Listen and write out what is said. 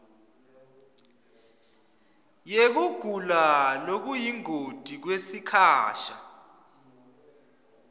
yekugula lokuyingoti kwesikhasha